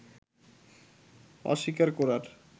অস্বীকার করার